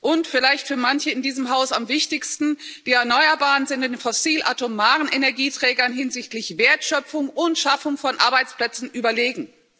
Und vielleicht für manche in diesem Haus am wichtigsten die Erneuerbaren sind den fossil-atomaren Energieträgern hinsichtlich Wertschöpfung und Schaffung von Arbeitsplätzen überlegen.